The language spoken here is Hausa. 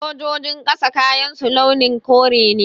Sojojin ƙasa kayansu launin kore ne